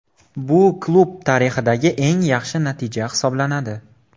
Bu klub tarixidagi eng yaxshi natija hisoblanadi.